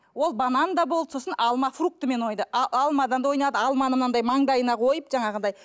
ол банан да болды сосын алма фрукты мен а алмадан да ойнады алманы мынандай маңдайына қойып жаңағыдай